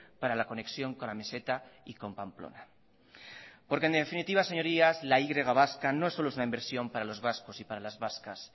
para la conexión con la meseta y con pamplona porque en definitiva señorías la y vasca no solo es una inversión para los vascos y para las vascas